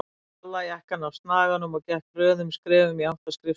Tók gallajakkann af snaganum og gekk hröðum skrefum í átt að skrifstofunni.